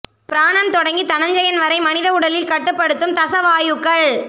பிராணன் தொடங்கி தனஞ்செயன் வரை மனித உடலில் கட்டுப்படுத்தும் தச வாயுக்கள்